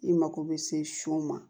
I mako bɛ se shon ma